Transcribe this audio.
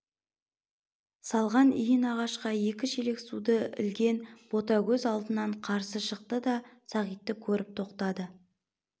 салған иін ағашқа екі шелек суды ілген ботагөз алдынан қарсы шықты да сағитты көріп тоқтады